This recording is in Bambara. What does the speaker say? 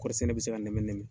Kɔɔri sɛnɛ bɛ se ka nɛmɛ nɛmɛ.